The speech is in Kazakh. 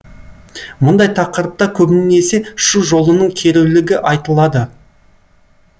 мұндай тақырыпта көбінесе шу жолының керулігі айтылады